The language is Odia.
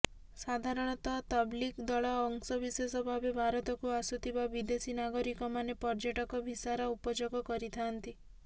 ସାଧାରଣତଃ ତବ୍ଲିଘ ଦଳର ଅଂଶବିଶେଷ ଭାବେ ଭାରତକୁ ଆସୁଥିବା ବିଦେଶୀ ନାଗରିକମାନେ ପର୍ଯ୍ୟ ଟକ ଭିସାର ଉପଯୋଗ କରିଥାନ୍ତି